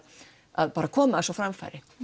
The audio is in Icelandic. að koma þessu á framfæri